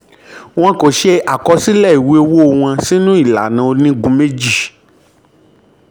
wọn kò ṣe àkọsílẹ̀ ìwé owó wọn sínú ìlànà sínú ìlànà onígun méjì.